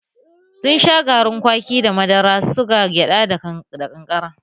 Sun sha garin kwaki da madara, suga, gyada da ƙanƙara